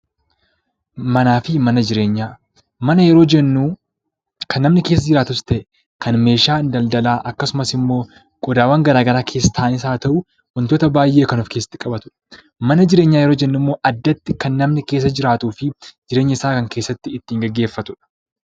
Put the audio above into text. Mana yeroo jennu kan namni keessa jiraatus ta'e, kan meeshaan daldalaa akkasumas immoo qodaawwan garaa garaa keessa taa'anis haa ta'u, wantoota baay'ee of keessatti qabatudha. Mana jireenyaa yeroo jennu immookan namni keessa jiraatuu fi jireenya isaa kan keessatti ittiin gaggeeffatudha.